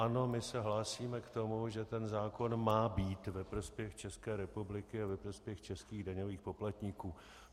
Ano, my se hlásíme k tomu, že ten zákon má být ve prospěch České republiky a ve prospěch českých daňových poplatníků.